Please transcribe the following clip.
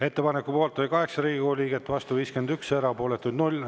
Ettepaneku poolt oli 8 Riigikogu liiget, vastu 51, erapooletuid 0.